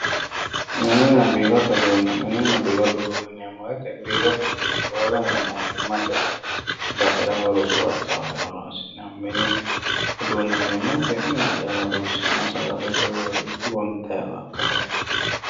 Mininna biirote uduune ,mininna biirote uduune yineemmo woyte biirote uduune roore anga mootimmate basera woyi rosu akawawera horonsi'neemmo, mini uduune yineemmoti mine calla horonsi'nanni sagalete woyi gonxanniwa ikka